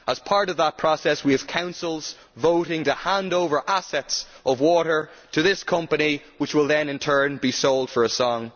As part of that process, we have councils voting to hand over water assets to this company, which will then in turn be sold for a song.